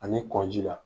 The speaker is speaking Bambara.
Ani kɔkɔji la